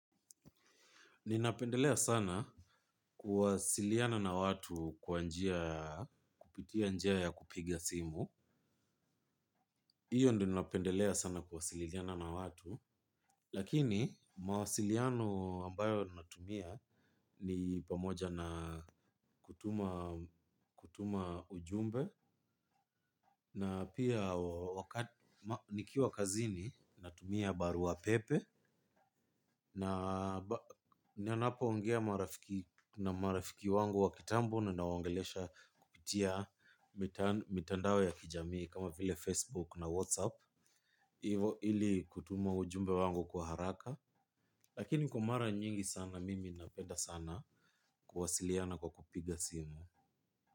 Ninapendelea sana kuwasiliana na watu kwa njia, kupitia njia ya kupiga simu. Hiyo ndio napendelea sana kuwasiliana na watu. Lakini mawasiliano ambayo natumia ni pamoja na kutuma ujumbe. Na pia wakati, nikiwa kazini, natumia barua pepe. Na ninapoongea na marafiki wangu wa kitambo na kuwasiliana nao kupitia mitandao ya kijamii kama vile Facebook na WhatsApp, ili kutuma ujumbe wangu kwa haraka. Lakini kwa mara nyingi sana mimi napenda sana kuwasiliana kwa kupiga simu.